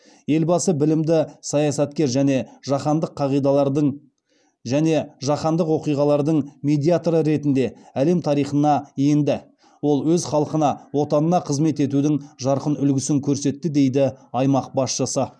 елбасы білімді саясаткер және жаһандықоқиғалардың медиаторы ретінде әлем тарихына енді ол өз халқына отанына қызмет етудің жарқын үлгісін көрсетті деді аймақ басшысы